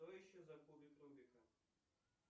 что еще за кубик рубика